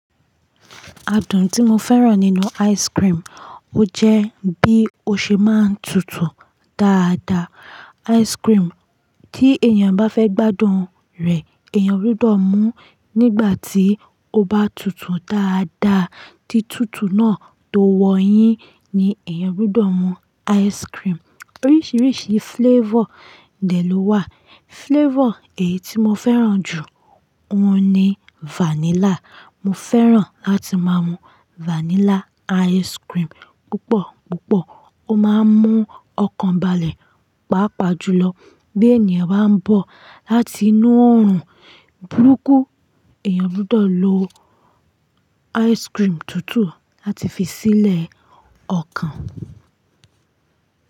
Adùn tí mo fẹ́ràn nínú ice cream, ó jẹ́ bí ó ṣe máa ń tutù dáadáa. Ice cream tí èèyàn bá fẹ́ gbádùn rẹ̀, èèyàn gbọdọ̀ mú nígbà tí ó bá tutù dáadáa. Tí tutù náà tó wọ̀nyín ni èèyàn gbọdọ̀ mú ice cream. Oríṣiríṣi flavor dẹ̀ ló wà. Flavor èyí tí mo fẹ́ràn jù n òun ni vanilla. Mo fẹ́ràn láti má mú vanilla ice cream púpọ̀púpọ̀. Ó máa ń mú ọkàn balẹ̀, pàápàá jùlọ bí èèyàn bá ń bọ̀ láti inú oòrùn burúkú. Èèyàn gbọdọ̀ lo ice cream tutù láti fi sílẹ̀ ọkàn.